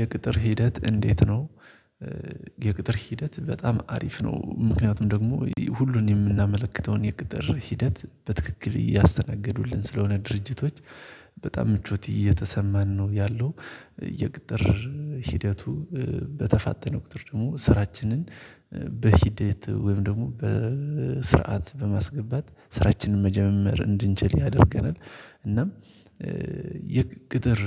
የቅጥር ሂደት እንዴት ነው? የቅጥር ሂደት በጣም አሪፍ ነው። ምክንያቱም ደግሞ ሁሉን የምናመለክተውን የቅጥር ሂደት በትክክል እያስተናገዱልን ስለሆነ ድርጅቶች። በጣም ምቾት እየተሰማን ነው ያለው። የቅጥር ሂደቱ በተፋጠነ ቁጥር ደግሞ ስራችንን በሂደት ወይም ደግሞ በስርዓት በማስገባት ስራችንን መጀመር እንድንችል ያደርገናል። እናም የቅጥር